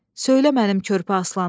Söylə mənim körpə aslanım!